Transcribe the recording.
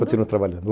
Continuo trabalhando.